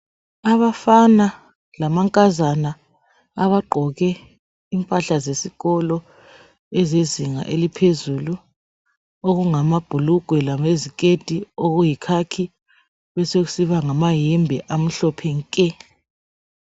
Abafana lamankazana abagqoke impahla zesikolo ezezinga eliphezulu okungamabhulugwe leziketi eziyikhakhi besokusiba lamayembe amhlophe nke.